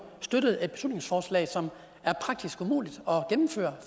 støttet et beslutningsforslag som er praktisk umuligt at gennemføre